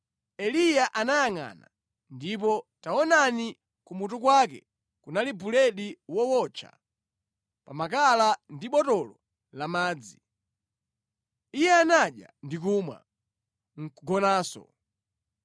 Eliya anayangʼana, ndipo taonani kumutu kwake kunali buledi wootcha pa makala ndi botolo la madzi. Iye anadya ndi kumwa, nʼkugonanso.